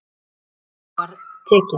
Hæsta tilboði var tekið.